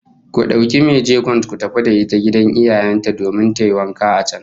Ku dauki mai jegon ku tafi da ita gidan iyayen ta domin tayi wanka a can